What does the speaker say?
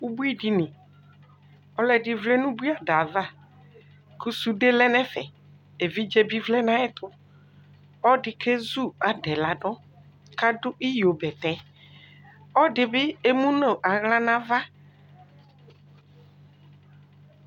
ʋbʋi dini, ɔlɔdi vlɛ nʋ ʋbʋi adaɛ aɣa kʋ sʋdɛ lɛnʋ ɛƒɛ, ɛvidzɛ bi vlɛnʋ ayɛtʋ, ɔdi kɛzʋ adaɛ ladʋ kʋ adʋ iyɔ bɛtɛ, ɔdi bi ɛmʋnʋ ala nʋ aɣa